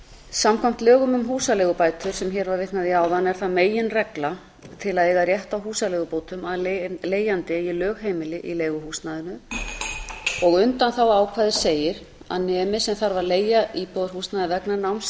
samkvæmt lögum um húsaleigubætur sem hér var vitnað í áðan er það meginregla til að eiga rétt á húsaleigubótum að leigjandi eigi lögheimili í leiguhúsnæðinu og undanþáguákvæðið segir að nemi sem þarf að leigja íbúðarhúsnæði vegna náms